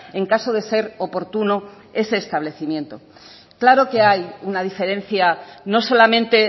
en caso de ser oportuno ese establecimiento claro que hay una diferencia no solamente